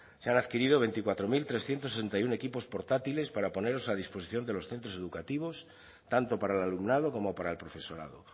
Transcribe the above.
se han adquirido veinticuatro mil trescientos sesenta y uno equipos portátiles para ponerlos a disposición de los centros educativos tanto para el alumnado como para el profesorado